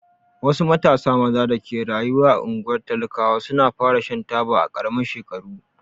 Wasu matasa maza da ke rayuwa a unguwar talakawa su na fara Shan taba a karamin shekaru.